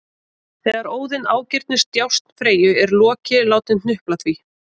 Þegar Óðinn ágirnist djásn Freyju er Loki látinn hnupla því